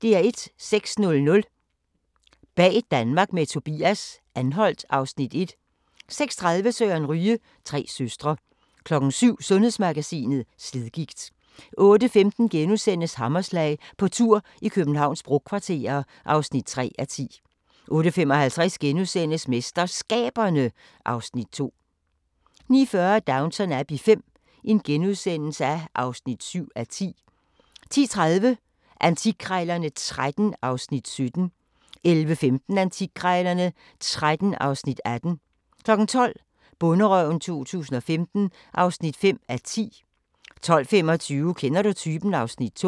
06:00: Bag Danmark med Tobias – Anholt (Afs. 1) 06:30: Søren Ryge: Tre søstre 07:00: Sundhedsmagasinet: Slidgigt 08:15: Hammerslag – på tur i Københavns brokvarterer (3:10)* 08:55: MesterSkaberne (Afs. 2)* 09:40: Downton Abbey V (7:10)* 10:30: Antikkrejlerne XIII (Afs. 17) 11:15: Antikkrejlerne XIII (Afs. 18) 12:00: Bonderøven 2015 (5:10) 12:25: Kender du typen? (Afs. 2)